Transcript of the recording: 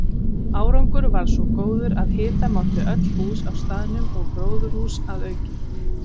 Árangur varð svo góður að hita mátti öll hús á staðnum og gróðurhús að auki.